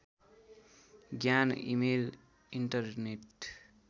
ज्ञान email internet